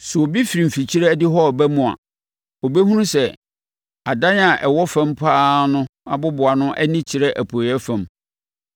Sɛ obi firi mfikyire adihɔ reba mu a, ɔbɛhunu sɛ adan a ɛwɔ fam pa ara no aboboano ani kyerɛ apueeɛ fam.